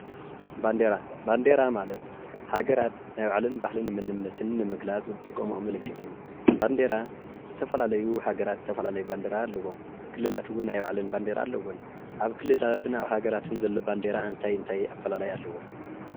ባንዴራ፦ ባንዴራ ማለት ሃገራት ናይባዕለን ባህልን መንነትን ንምግላፅ ዝጥቀመኦ ምልክት እዩ። ባንዴራ ዝተፈላለዩ ሃገራትዝተፈላለዩ ባንዴራ ኣለዎም። ክልላት እውን ናይ ባዕለን ባንዴራ ኣለወን። ኣብ ክልላትን ኣብ ሃገራትን ዘሎ ባንዴራ እንታይ ኣፈላላይ ኣለዎ?